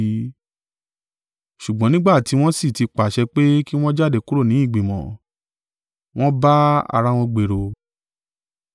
Ṣùgbọ́n nígbà tí wọ́n sì ti pàṣẹ pé kí wọn jáde kúrò ní ìgbìmọ̀, wọ́n bá ara wọn gbèrò.